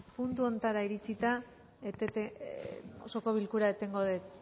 puntu honetara iritsita osoko bilkura etengo dut